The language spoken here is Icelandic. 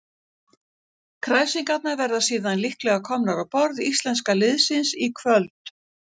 Kræsingarnar verða síðan líklega komnar á borð íslenska liðsins í kvöld.